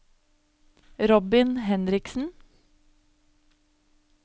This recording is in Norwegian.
Robin Henriksen